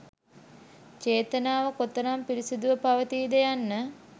චේතනාව කොතරම් පිරිසුදුව පවතීද යන්න